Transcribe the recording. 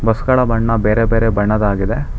ಬಸ್ಗಳ ಬಣ್ಣ ಬೇರೆ ಬೇರೆ ಬಣ್ಣದಾಗಿದೆ.